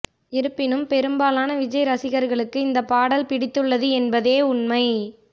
இருப்பினும் பெரும்பாலான விஜய் ரசிகர்களுக்கு இந்த பாடல் பிடித்துள்ளது என்பதே உண்மை